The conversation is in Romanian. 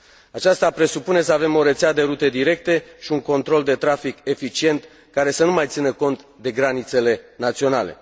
Aceasta presupune să avem o rețea de rute directe și un control de trafic eficient, care să nu mai țină cont de granițele naționale.